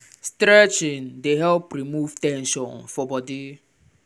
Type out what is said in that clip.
stretching dey help remove ten sion for body.